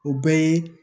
O bɛɛ ye